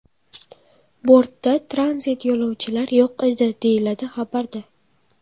Bortda tranzit yo‘lovchilar yo‘q edi”, deyiladi xabarda.